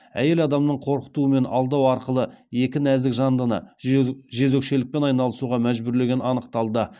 әйел адамның қорқыту мен алдау арқылы екі нәзік жандыны жезөкшелікпен айналысуға мәжбүрлегені анықталды